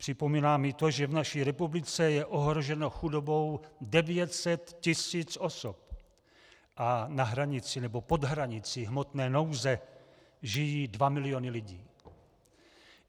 Připomínám i to, že v naší republice je ohroženo chudobou 900 tisíc osob a na hranici nebo pod hranicí hmotné nouze žijí 2 miliony lidí.